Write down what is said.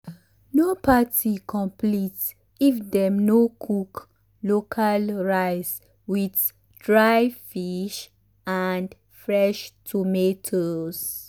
no party complete if dem no cook local rice with dry fish and fresh tomatoes.